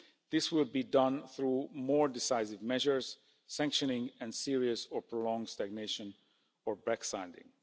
This will be done through more decisive measures, sanctioning and serious or prolonged stagnation or backsliding.